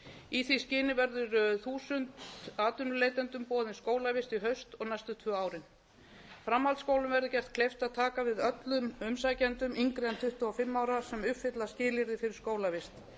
í því skyni verður þúsund atvinnuleitendum boðin skólavist í haust og næstu tvö árin framhaldsskólum verður gert kleift að taka við öllum umsækjendum yngri en tuttugu og fimm ára sem uppfylla skilyrði fyrir skólavist